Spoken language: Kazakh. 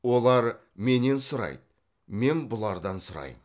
олар менен сұрайды мен бұлардан сұраймын